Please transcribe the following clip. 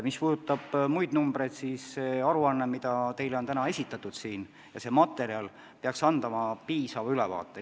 Mis puudutab muid numbreid, siis aruanne, mis teile on täna esitatud, peaks andma piisava ülevaate.